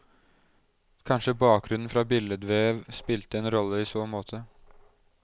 Kanskje bakgrunnen fra billedvev spilte en rolle i så måte.